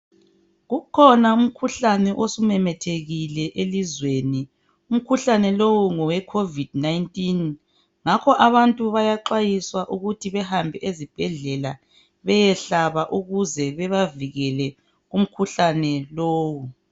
Kukhona umkhuhlane osumemethekile elizweni. Umkhuhlane lowu ngowe Covid-19.Ngakho abantu bayaxwayiswa ukuthi behambe ezibhedlela beyehlaba ukuze bebavikele umkhuhlane lowo.